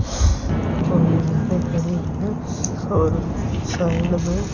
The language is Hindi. यहाँ पे खड़ी हुई है और साइड में ।